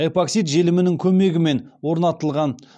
эпоксид желімінің көмегімен орнатылған